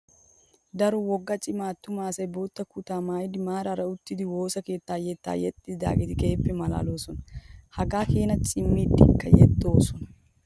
Daro wogga cima attuma asayi bootaa kutaa maayyidi maaraara uttidi woosa keettaa yetta yexxiyaageti keehippe maalaaloosona. Hagaa keenaa cimidikka yexxoosona.